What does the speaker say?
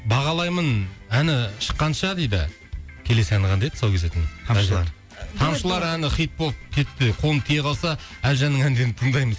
бағалаймын әні шыққанша дейді келесі әні қандай еді тұсау кесетін тамшылар тамшылар әні хит болып кетті қолым тие қалса әлжанның әндерін тыңдаймын дейді